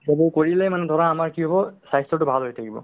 গৈ কৰিলে মানে ধৰা আমাৰ কি হ'ব স্ৱাস্থ্যতো ভাল হৈ থাকিব